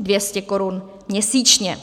200 korun měsíčně.